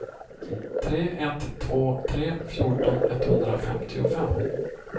tre ett två tre fjorton etthundrafemtiofem